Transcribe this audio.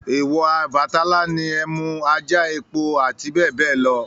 Èwọ̀ Ọbàtálá ni ẹmú, ajá, epo àti bẹ́ẹ̀ bẹ́ẹ̀ lọ